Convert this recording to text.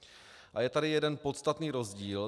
A je tady jeden podstatný rozdíl.